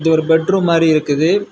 இது ஒரு பெட்ரூம் மாறி இருக்குது.